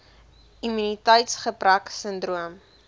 immuniteits gebrek sindroom